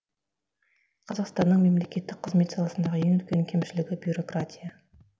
қазақстанның мемлекеттік қызмет саласындағы ең үлкен кемшілігі бюрократия